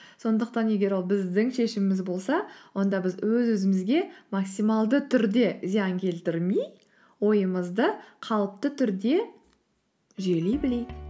сондықтан егер ол біздің шешіміміз болса онда біз өз өзімізге максималды түрде зиян келтірмей ойымызды қалыпты түрде жүйелей білейік